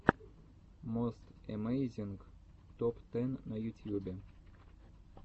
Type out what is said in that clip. мост эмейзинг топ тэн на ютьюбе